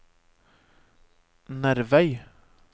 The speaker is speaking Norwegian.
Nervei